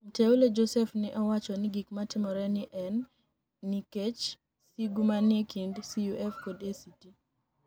Mteule Joseph ni e owacho nii gik matimore ni e eni niikech sigu maniie kinid CUF kod ACT.